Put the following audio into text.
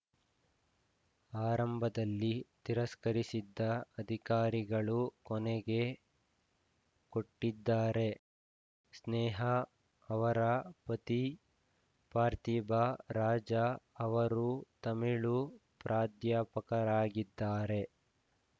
ಆರಂಭದಲ್ಲಿ ತಿರಸ್ಕರಿಸಿದ್ದ ಅಧಿಕಾರಿಗಳು ಕೊನೆಗೆ ಕೊಟ್ಟಿದ್ದಾರೆ ಸ್ನೇಹ ಅವರ ಪತಿ ಪಾರ್ಥಿಬ ರಾಜ ಅವರು ತಮಿಳು ಪ್ರಾಧ್ಯಾಪಕರಾಗಿದ್ದಾರೆ